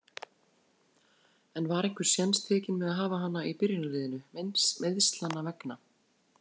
En var einhver séns tekinn með að hafa hana í byrjunarliðinu, meiðslanna vegna?